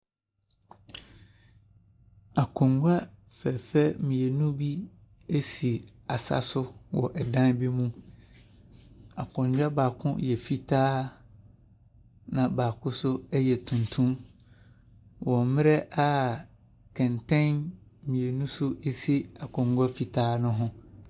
Akonnwa fɛfɛɛfɛ mmienu bi asi asaso wɔ dan bi mu. Akonnwa baako yɛ fitaa na baako so ɛyɛ tuntum, wɔ mmerɛ kɛntɛn mmienu nso asi akonnwa fitaa no ɛho.